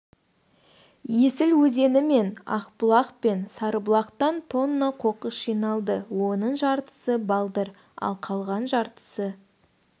есіл өзені мен ақбұлақ пен сарыбұлақтан тонна қоқыс жиналды оның жартысы балдыр ал қалған жартысы